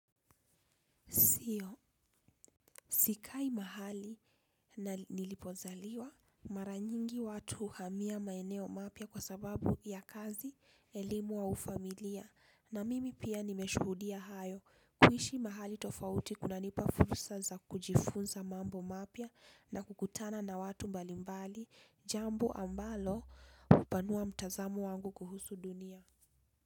Sio sikai mahali nilipozaliwa mara nyingi watu huhamia maeneo mapya kwa sababu ya kazi, elimu au familia na mimi pia nimeshuhudia hayo kuishi mahali tofauti kunanipa fursa za kujifunza mambo mapya na kukutana na watu mbali mbali jambo ambalo hupanua mtazamo wangu kuhusu dunia.